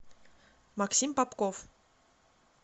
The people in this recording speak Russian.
максим попков